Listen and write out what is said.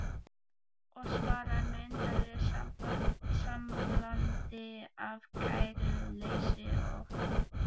Og svarar með undarlegu samblandi af kæruleysi og ótta